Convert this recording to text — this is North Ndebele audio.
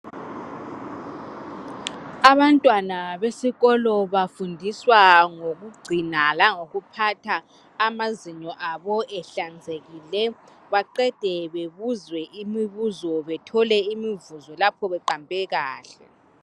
Abantwana besikolo bafundiswa ngokugcina langokuphatha amazinyo abo ehlanzekile. Baqede bebuzwe imibuzo bethole imivuzo lapho beqambe kahle.